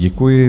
Děkuji.